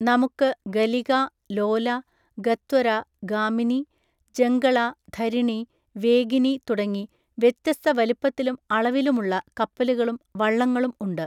നമുക്ക് ഗലിക, ലോല, ഗത്വര, ഗാമിനി, ജങ്കള, ധരിണി, വേഗിനി തുടങ്ങി വ്യത്യസ്ത വലിപ്പത്തിലും അളവിലുമുള്ള കപ്പലുകളും വള്ളങ്ങളും ഉണ്ട്.